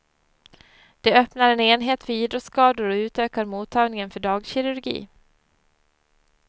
De öppnar en enhet för idrottsskador och utökar mottagningen för dagkirurgi.